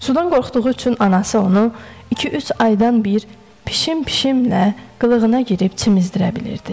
Sudan qorxduğu üçün anası onu iki-üç aydan bir piş-pişlə qılığına girib çimizdirə bilirdi.